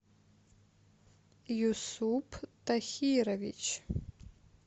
юсуп тахирович